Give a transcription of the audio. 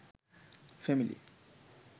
family